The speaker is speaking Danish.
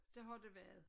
Det har det været